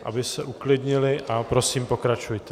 - aby se uklidnili, a prosím, pokračujte.